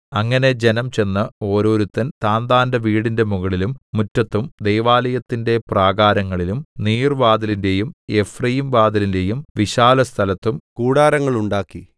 അങ്ങനെ ജനം ചെന്ന് ഒരോരുത്തൻ താന്താന്റെ വീടിന്റെ മുകളിലും മുറ്റത്തും ദൈവാലയത്തിന്റെ പ്രാകാരങ്ങളിലും നീർവ്വാതിലിന്റെയും എഫ്രയീംവാതിലിന്റെയും വിശാലസ്ഥലത്തും കൂടാരങ്ങളുണ്ടാക്കി